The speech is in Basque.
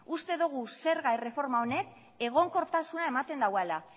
uste dogu zerga erreforma honek egonkortasuna ematen dauala